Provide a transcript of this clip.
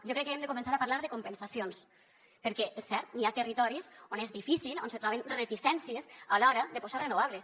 jo crec que hem de començar a parlar de compensacions perquè és cert hi ha territoris on és difícil on se troben reticències a l’hora de posar renovables